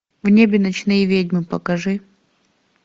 в небе ночные ведьмы покажи